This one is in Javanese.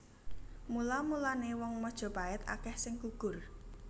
Mula mulané wong Majapait akèh sing gugur